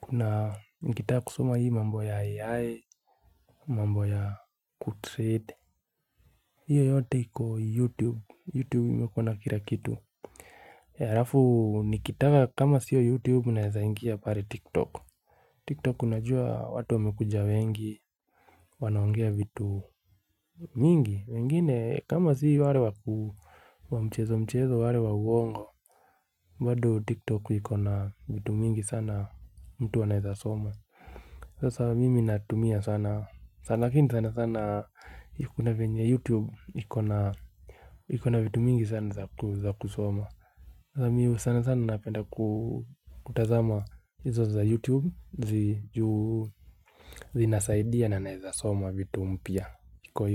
Kuna mkitaa kusoma hii mambo ya AI mambo ya good trade hiyo, yote iko youtube, youtube imekua na kira kitu. Harafu nikitaka kama sio youtube unaezaingia pare tiktok Tiktok unajua watu wamekuja wengi. Wanaongea vitu mingi wengine kama sio ware waku wa mchezo mchezo wale wa uongo bado tiktok ikona vitu mingi sana mtu anaeza soma. Sasa mimi natumia sana Lakin sana sana ikuna venye youtube ikona ikona vitu mingi sana za kusoma Sasa mi sana sana napenda ku kutazama Izo za youtube zinasaidia na naeza soma vitu mpya Kikoyo.